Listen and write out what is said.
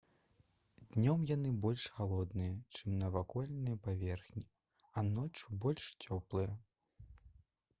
«днём яны больш халодныя чым навакольныя паверхні а ноччу — больш цёплыя»